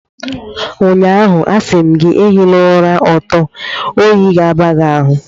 Ụnyaahụ, a sị m gị, ehila ụra ọtọ, oyi ga-aba gị ahụ